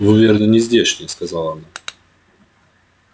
вы верно не здешние сказала она